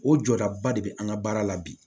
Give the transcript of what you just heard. O jɔdaba de be an ka baara la bi